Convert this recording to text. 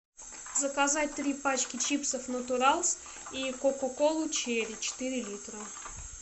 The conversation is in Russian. заказать три пачки чипсов натуралс и кока колу черри четыре литра